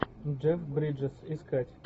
джек бриджес искать